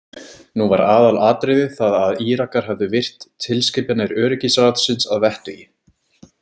Nú var aðalatriðið það að Írakar hefðu virt tilskipanir Öryggisráðsins að vettugi.